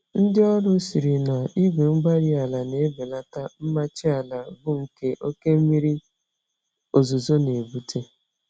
Ndị ọrụ sịrị na igwe-mgbárí-ala n'ebelata mmachi àlà, bu nke oké mmírí ozuzo n'ebute